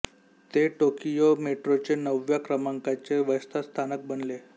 ते टोकियो मेट्रोचे नवव्या क्रमांकाचे व्यस्त स्थानक बनले